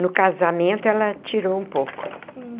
No casamento, ela tirou um pouco.